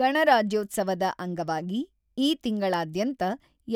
ಗಣರಾಜ್ಯೋತ್ಸವದ ಅಂಗವಾಗಿ ಈ ತಿಂಗಳಾದ್ಯಂತ